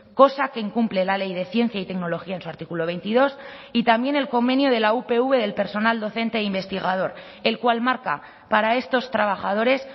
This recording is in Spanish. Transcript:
cosa que incumple la ley de ciencia y tecnología en su artículo veintidós y también el convenio de la upv del personal docente e investigador el cual marca para estos trabajadores